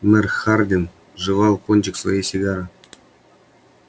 мэр харвин жевал кончик своей сигары